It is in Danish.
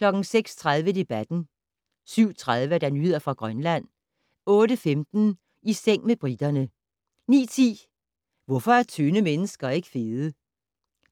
06:30: Debatten 07:30: Nyheder fra Grønland 08:15: I seng med briterne 09:10: Hvorfor er tynde mennesker ikke fede?